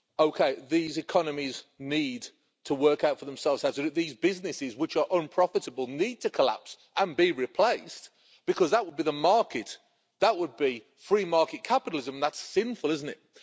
OK, these economies need to work out for themselves how to do it, these businesses which are unprofitable need to collapse and be replaced' because that would be the market, that would be free market capitalism and that's sinful, isn't it?